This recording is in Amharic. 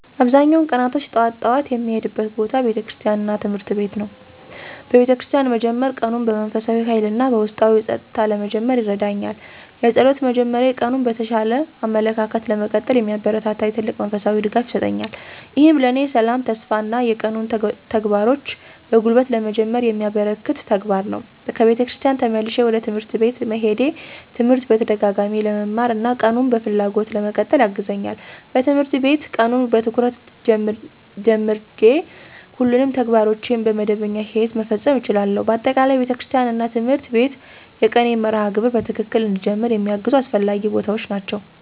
አብዛኛውን ቀናቶች ጠዋት ጠዋት የምሄድበት ቦታ ቤተክርስቲያን እና ትምህርት ቤት ነው። በቤተክርስቲያን መጀመር ቀኑን በመንፈሳዊ ኃይል እና በውስጣዊ ጸጥታ ለመጀመር ይረዳኛል። የጸሎት መጀመሬ ቀኑን በተሻለ አመለካከት ለመቀጠል የሚያበረታታኝ ትልቅ መንፈሳዊ ድጋፍ ይሰጠኛል። ይህም ለእኔ ሰላም፣ ተስፋ እና የቀኑን ተግባሮች በጉልበት ለመጀመር የሚያበረከት ተግባር ነው። ከቤተክርስቲያን ተመልሼ ወደ ትምህርት ቤት መሄዴ ትምህርት በተደጋጋሚ ለመማር እና ቀኑን በፍላጎት ለመቀጠል ያግዛኛል። በትምህርት ቤት ቀኑን በትኩረት ጀመርቼ ሁሉንም ተግባሮቼን በመደበኛ ሂደት መፈጸም እችላለሁ። በአጠቃላይ፣ ቤተክርስቲያን እና ትምህርት ቤት የቀኔን መርሃ ግብር በትክክል እንድጀመር የሚያግዙ አስፈላጊ ቦታዎች ናቸው።